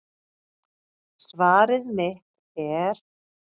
Svar mitt er